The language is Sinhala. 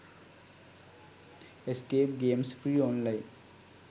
escape games free online